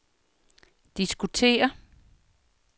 diskutere